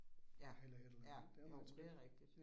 Ja, ja, jo det rigtigt